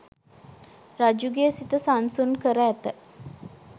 රජුගේ සිත සන්සුන් කර ඇත.